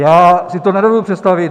Já si to nedovedu představit.